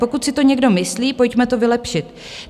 Pokud si to někdo myslí, pojďme to vylepšit.